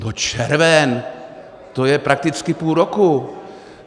No červen, to je prakticky půl roku.